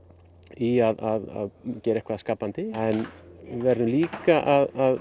í að gera eitthvað skapandi en við verðum líka að